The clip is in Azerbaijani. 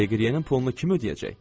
Deqiryənin pulunu kim ödəyəcək?